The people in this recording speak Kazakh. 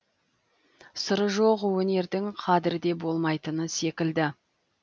сыры жоқ өнердің қадірі де болмайтын секілді